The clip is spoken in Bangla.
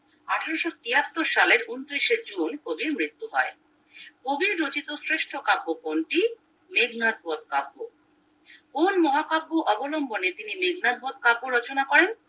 আঠারোশো তিয়াত্তর সালের ঊনত্রিশে জুন মৃত্যু হয় কবির রচিত শ্রেষ্ঠ কাব্য কোনটি মেঘনাথ বধ কাব্য কোন মহাকাব্য অবলম্বনে তিনি মেঘনাথ বধ কাব্য রচনা করেন